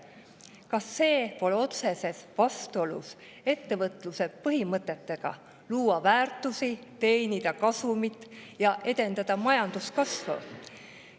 Kas see pole otseses vastuolus ettevõtluse põhimõtetega, et tuleb luua väärtusi, teenida kasumit ja edendada majanduskasvu?